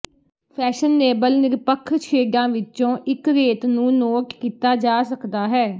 fashionable ਨਿਰਪੱਖ ਸ਼ੇਡਾਂ ਵਿੱਚੋਂ ਇੱਕ ਰੇਤ ਨੂੰ ਨੋਟ ਕੀਤਾ ਜਾ ਸਕਦਾ ਹੈ